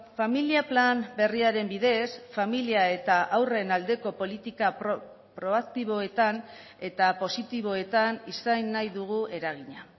familia plan berriaren bidez familia eta haurren aldeko politika proaktiboetan eta positiboetan izan nahi dugu eragina